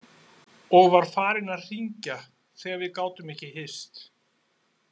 Og var farinn að hringja þegar við gátum ekki hist.